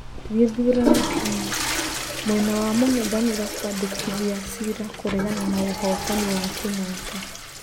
Gĩthurano Kenya: Mwena wa mũng'ethaniro kwandĩkithĩa cira kũregana na ũhotani wa Kĩnyatta.